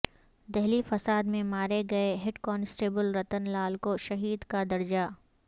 دہلی فساد میں مارے گئے ہیڈ کانسٹیبل رتن لال کو شہید کا درجہ